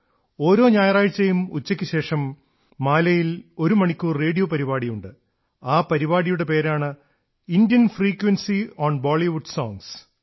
ഓരോ ഞായറാഴ്ചയും ഉച്ചയ്ക്കുശേഷം മാലിയിൽ ഒരു മണിക്കൂർ റേഡിയോ പരിപാടിയുണ്ട് ആ പരിപാടിയുടെ പേരാണ് Indian frequency on Bollywood songs